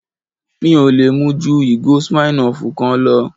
Mi ò lè mu ju ìgò Smirnoff kan lọ